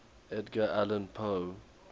edgar allan poe